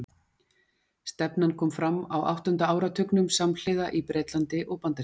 Stefnan kom fram á áttunda áratugnum, samhliða í Bretlandi og Bandaríkjunum.